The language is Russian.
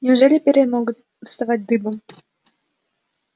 неужели перья могут вставать дыбом